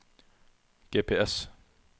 GPS